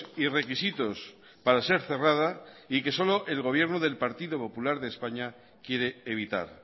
y requisitos para ser cerrada y que solo el gobierno del partido popular de españa quiere evitar